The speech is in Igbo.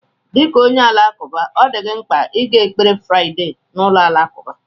Dị ka onye Alakụba, ọ dị mkpa ịga ekpere Fraịdee na ụlọ alakụba.